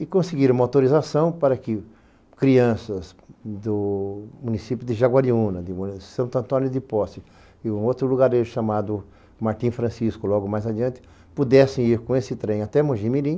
E conseguiram uma autorização para que crianças do município de Jaguariúna, de São Antônio de Posse, e um outro lugarejo chamado Martim Francisco, logo mais adiante, pudessem ir com esse trem até Mogi Mirim,